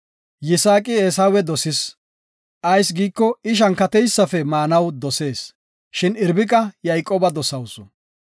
Yisaaqi Eesawe dosis; ayis giiko, I shankateysafe maanaw dosees; shin Irbiqa Yayqooba dosawusu.